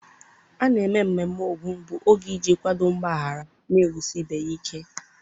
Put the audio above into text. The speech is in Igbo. A na-eme ememme ógun bụ oge iji kwadoo, mgbaghara, na-ewusi ibe ya ike.